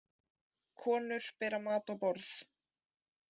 Konur bera mat á borð